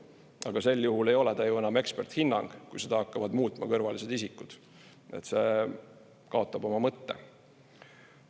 Aga sel juhul ei ole ta ju enam eksperthinnang, kui seda hakkavad muutma kõrvalised isikud, see kaotab oma mõtte.